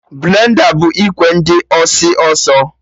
Blenda bụ ikwe dị ọsị ọsọ